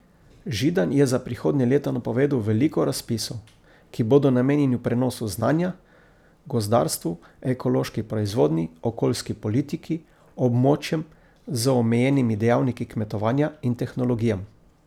Židan je za prihodnje leto napovedal veliko razpisov, ki bodo namenjeni prenosu znanja, gozdarstvu, ekološki proizvodnji, okoljski politiki, območjem z omejenimi dejavniki kmetovanja in tehnologijam.